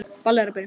Ballið er byrjað.